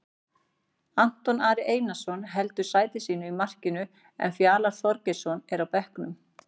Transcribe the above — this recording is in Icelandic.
Anton Ari Einarsson heldur sæti sínu í markinu en Fjalar Þorgeirsson er á bekknum.